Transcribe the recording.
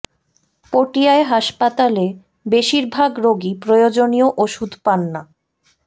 পটিয়ায় হাসপাতালে বেশির ভাগ রোগী প্রয়োজনীয় ওষুধ পান না